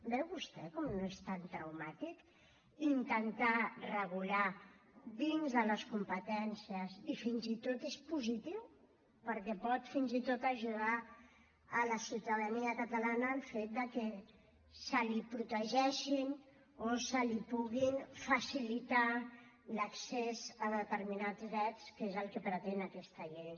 veu vostè com no és tan traumàtic intentar regular dins de les competències i fins i tot és positiu perquè pot fins i tot ajudar la ciutadania catalana el fet que se li protegeixin o se li pugui facilitar l’accés a determinats drets que és el que pretén aquesta llei